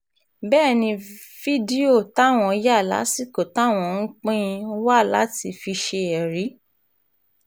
bẹ́ẹ̀ ni fídíò táwọn yà lásìkò táwọn ń pín in wa láti fi ṣe ẹ̀rí